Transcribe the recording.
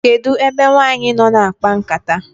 kedu ebe nwanyi noo na akpa nkata?